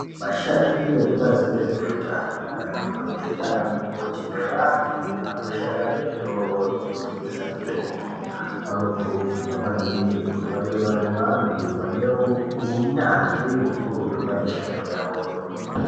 Vashandi vekubazi rezveutano, madhokodheya nana mukoti, nevantu vanoshande muzvitoro zvinotengesa mitombo vanokurudzirwa maningi kuti vange vari vantu vane unyanzvi hukurutu pamishando yavoyo .